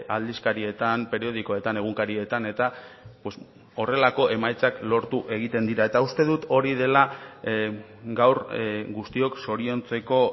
aldizkarietan periodikoetan egunkarietan eta horrelako emaitzak lortu egiten dira eta uste dut hori dela gaur guztiok zoriontzeko